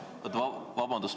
Vabandust!